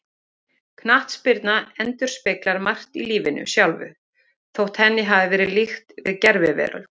Knattspyrna endurspeglar margt í lífinu sjálfu, þótt henni hafi verið líkt við gerviveröld.